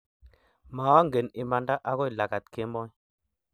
Maangen imanda agoi lagat kemoi